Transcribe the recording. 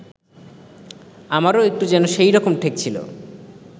আমারও একটু যেন সেইরকম ঠেকছিল